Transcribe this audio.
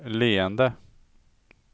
leende